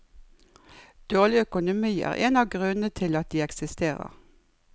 Dårlig økonomi er en av grunnene til at de eksisterer.